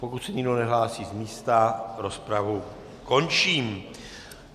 Pokud se nikdo nehlásí z místa, rozpravu končím.